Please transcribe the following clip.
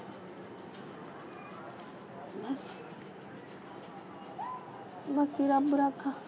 ਬਾਕੀ ਰੱਬ ਰਾਖਾ